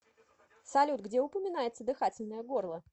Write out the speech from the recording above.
салют где упоминается дыхательное горло